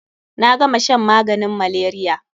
Na gama shan maganin malaria.